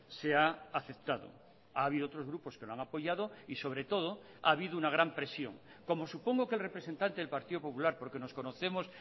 se ha aceptado ha habido otros grupos que lo han apoyado y sobre todo ha habido una gran presión como supongo que el representante del partido popular porque nos conocemos